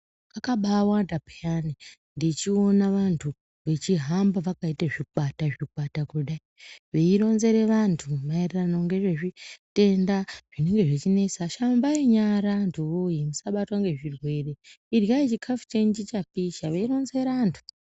Kakabaawanda pheyani ndechiona vantu, vechihamba vakaite zvikwata zvikwata kudai, veironzere vantu maererano ngezvezvitenda zvinenge zvichinesa."Shambai nyara antu woye musabatwa ngezvirwere. Iryai chikhafu chenyu chichapisha." Veironzera antu.